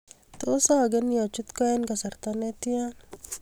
Tos ag'enyi achut koo eng' kasarta ne tia